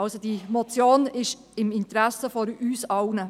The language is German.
Also: Diese Motion ist im Interesse von uns allen.